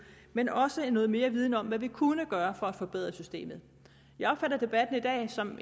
men også noget mere viden om hvad vi kunne gøre for at forbedre systemet jeg opfatter debatten i dag som